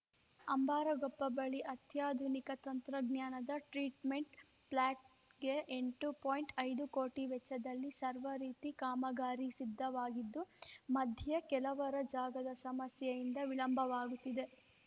ಅಂಬಾರಗೊಪ್ಪ ಬಳಿ ಅತ್ಯಾಧುನಿಕ ತಂತ್ರಜ್ಞಾನದ ಟ್ರೀಟ್‌ಮೆಂಟ್‌ ಪ್ಲಾಟ್ ಗೆ ಎಂಟು ಪಾಯಿಂಟ್ ಐದು ಕೋಟಿ ವೆಚ್ಚದಲ್ಲಿ ಸರ್ವ ರೀತಿ ಕಾಮಗಾರಿ ಸಿದ್ದವಾಗಿದ್ದು ಮಧ್ಯೆ ಕೆಲವರ ಜಾಗದ ಸಮಸ್ಯೆಯಿಂದ ವಿಳಂಬವಾಗುತ್ತಿದೆ